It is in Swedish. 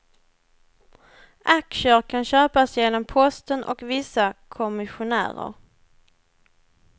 Aktier kan köpas genom posten och vissa kommissionärer.